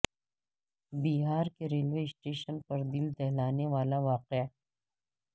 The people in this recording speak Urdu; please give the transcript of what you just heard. بہار کے ریلوے اسٹیشن پر دل دہلادینے والا واقعہ